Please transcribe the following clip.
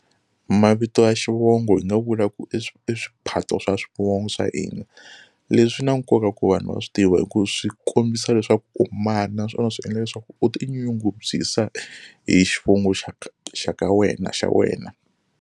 Mavito ya xivongo hi nga vula ku swiphato swa swivongo swa hina leswi swi na nkoka ku vanhu va swi tiva hi ku swi kombisa leswaku u mani naswona swi endla leswaku u ti nyungubyisa hi xivongo xa ka xa ka wena xa wena.